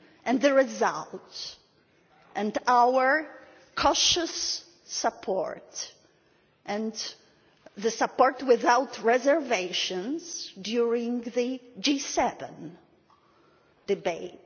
And we have the result, and our cautious support and the support without reservations during the G7 debate.